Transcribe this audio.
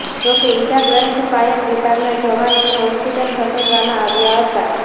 જોકે ઇજાગ્રસ્ત ફાયર વિભાગના જવાનોને હોસ્પિટલ ખસેડવામાં આવ્યા હતા